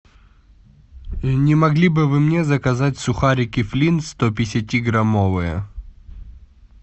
не могли бы вы мне заказать сухарики флинт сто пятидесяти граммовые